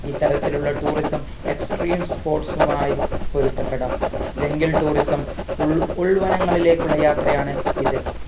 ഈ തരത്തിലുള്ള tourism extreme sports മായി പൊരുത്തപ്പെടാം jungle tourism ഉൾ ഉൾവനങ്ങളിലേക്കുള്ള യാത്രയാണ് ഇത്